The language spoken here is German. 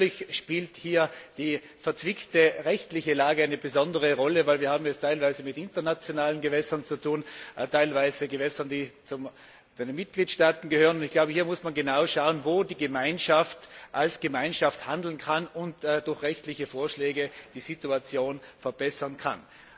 Natürlich spielt hier die verzwickte rechtliche Lage eine besondere Rolle, weil wir es hier teilweise mit internationalen Gewässern zu tun haben und teilweise mit Gewässern, die zu den Mitgliedstaaten gehören. Und ich glaube, hier muss man genau schauen, wo die Gemeinschaft als Gemeinschaft handeln und durch rechtliche Vorschläge die Situation verbessern kann.